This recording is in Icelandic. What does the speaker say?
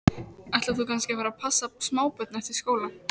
Ætlar þú kannski að fara að passa smábörn eftir skóla?